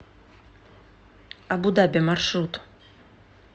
абу даби маршрут